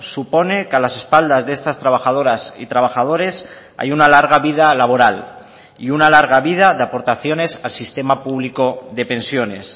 supone que a las espaldas de estas trabajadoras y trabajadores hay una larga vida laboral y una larga vida de aportaciones al sistema público de pensiones